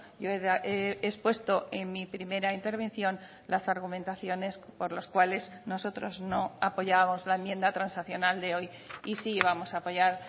yo he expuesto en mi primera intervención las argumentaciones por las cuales nosotros no apoyamos la enmienda transaccional de hoy y sí vamos a apoyar